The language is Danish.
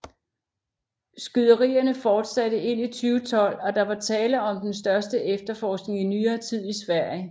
Skyderierne fortsatte ind i 2012 og der var tale om den største efterforskning i nyere tid i Sverige